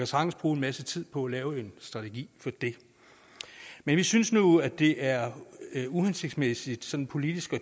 sagtens bruge en masse tid på at lave en strategi for det men vi synes nu det er uhensigtsmæssigt sådan politisk